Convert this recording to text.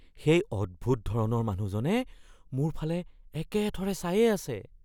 সেই অদ্ভুত ধৰণৰ মানুহজনে মোৰ ফালে একেথৰে চায়েই আছে।